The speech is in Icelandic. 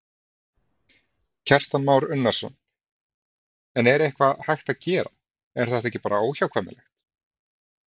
Kristján Már Unnarsson: En er eitthvað hægt að gera, er þetta ekki bara óhjákvæmilegt?